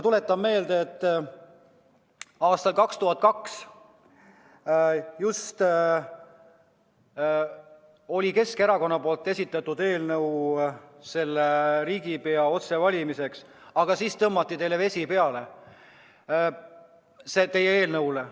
Tuletan meelde, et aastal 2002 oli just Keskerakond esitanud eelnõu riigipea otsevalimiseks, aga siis tõmmati vesi peale teie eelnõule.